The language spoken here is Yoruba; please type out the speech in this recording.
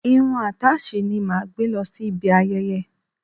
Irun àtáàsì ni màá gbé lọ sí ibi ayẹyẹ.